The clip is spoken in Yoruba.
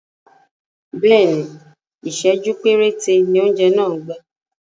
Bẹ́ẹ̀ni, Ìsẹ̀jú péréte ni oúnjẹ náà gbà